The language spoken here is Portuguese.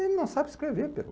Ele não sabe escrever, Pedro.